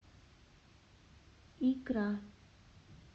икра